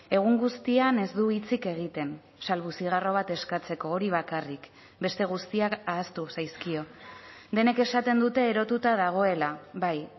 egun guztian ez du hitzik egiten salbu zigarro bat eskatzeko hori bakarrik beste guztiak ahaztu zaizkio denek esaten dute erotuta dagoela bai